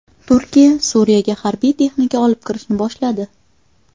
Turkiya Suriyaga harbiy texnika olib kirishni boshladi.